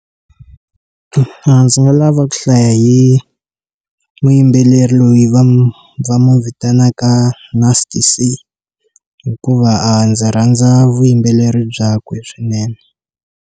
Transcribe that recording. A ndzi nga lava ku hlaya hi muyimbeleri loyi va n'wi va n'wi vitanaka na Nasty c hikuva a ndzi rhandza vuyimbeleri byakwe swinene.